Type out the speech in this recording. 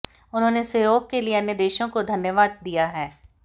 उन्होंने सहयोग के लिए अन्य देशों को धन्यवाद दिया है